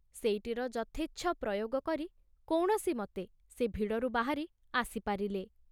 ସେଇଟିର ଯଥେଚ୍ଛ ପ୍ରୟୋଗ କରି କୌଣସିମତେ ସେ ଭିଡ଼ରୁ ବାହାରି ଆସିପାରିଲେ।